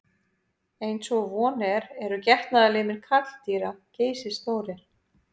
Eins og von er eru getnaðarlimir karldýra geysistórir.